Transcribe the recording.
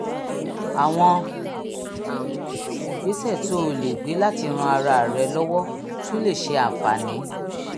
àwọn ìgbésẹ̀ tó o lè gbé láti ran ara rẹ lọ́wọ́ tún lè ṣe àǹfààní